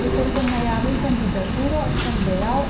Že ko sem najavil kandidaturo, sem dejal,